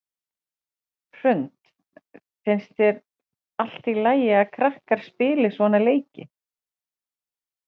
Hrund: Finnst þér allt í lagi að krakkar spili svona leiki?